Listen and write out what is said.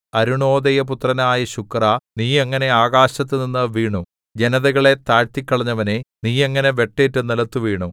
അരുണോദയപുത്രനായ ശുക്രാ നീ എങ്ങനെ ആകാശത്തുനിന്ന് വീണു ജനതകളെ താഴ്ത്തിക്കളഞ്ഞവനേ നീ എങ്ങനെ വെട്ടേറ്റു നിലത്തുവീണു